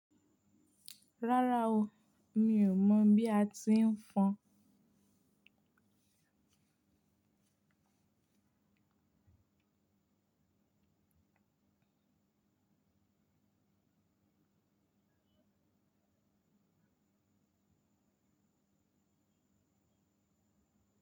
Rárá o, mi ò mọ̀ bí a ti ń fọn.